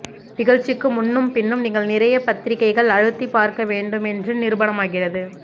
நிகழ்ச்சிக்கு முன்னும் பின்னும் நீங்கள் நிறைய பத்திரிகைகள் அழுத்திப் பார்க்க வேண்டும் என்று நிரூபணமாகிறது